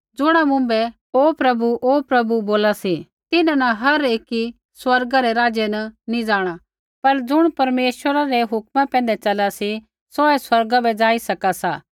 ज़ुणा मुँभै ओ प्रभु ओ प्रभु बोला सी तिन्हां न हर एकी स्वर्गा रै राज्य नी जाँणा पर ज़ुण परमेश्वरै रै हुक्मा पैंधै च़ला सा सौहै स्वर्गा बै ज़ाई सका सा